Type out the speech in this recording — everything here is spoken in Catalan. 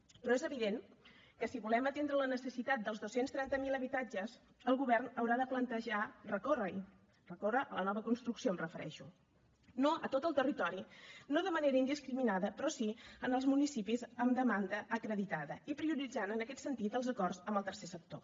però és evident que si volem atendre la necessitat dels dos cents i trenta miler habitatges el govern haurà de plantejar recórrer hi recórrer a la nova construcció em refereixo no a tot el territori no de manera indiscriminada però sí en els municipis amb demanda acreditada i prioritzant en aquest sentit els acords amb el tercer sector